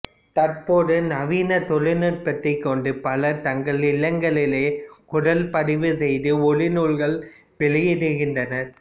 தற்போதைய நவின தொழில்நுட்பத்தைக் கொண்டு பலர் தங்கள் இல்லங்களிலேயே குரல்பதிவு செய்து ஒலிநூல்கள் வெளியிடுகின்றனர்